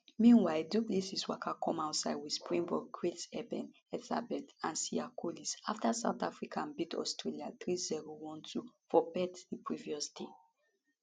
meanwhile du plessis waka come outside wit springbok greats eben etzebeth and siya kolisi afta south africa beat australia 3012 for perth di previous day